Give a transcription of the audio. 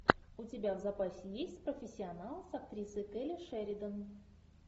у тебя в запасе есть профессионал с актрисой келли шеридан